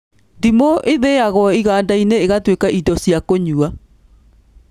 Ndimũ ĩthĩagwo iganda-inĩ ĩgatuĩka indo cia kũnyua